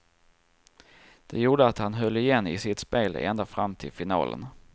Det gjorde att han höll igen i sitt spel ända fram till finalen.